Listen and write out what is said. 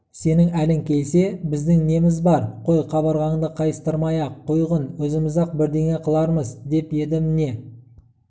сенің әлің келсе біздің неміз бар қой қабырғаңды қайыстырмай-ақ қойғын өзіміз-ақ бірдеңе қылармыз деп еді міне